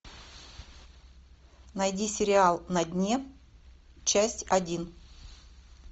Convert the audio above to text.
найди сериал на дне часть один